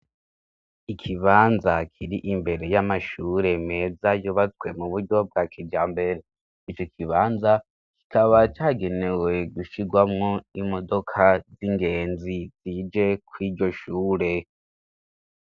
Ikibanza kir'imbere y'amashure meza yubatswe mu buryo bwa kijambere, ico kibanza kikaba cagenewe gushirwamwo imodoka z'ingenzi zije kur'iryo shure.